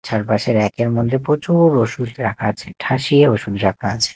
চারপাশে ব়্যাক -এর মধ্যে প্রচুর ওষুধ রাখা আছে ঠাসিয়ে ওষুধ রাখা আছে।